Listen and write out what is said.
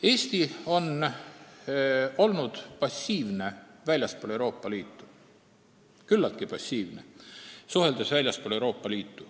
Eesti on suhtluses väljaspool Euroopa Liitu küllaltki passiivne olnud.